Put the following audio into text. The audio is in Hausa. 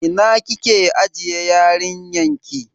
Ina kike ajiye yarinyan ki?